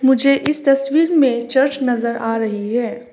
मुझे इस तस्वीर में चर्च नजर आ रही है।